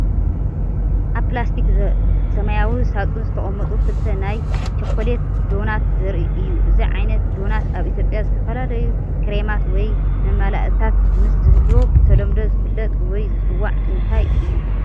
ኣብ ፕላስቲክ ሰማያዊ ሳጹን ዝተቐመጡ ክልተ ናይ ቸኮሌት ዶናት ዘርኢ እዩ። እዚ ዓይነት ዶናት ኣብ ኢትዮጵያ ዝተፈላለዩ ክሬማት ወይ መመላእታታት ምስ ዝህልዎ ብተለምዶ ዝፍለጥ ወይ ዝጽዋዕ እንታይ እዩ?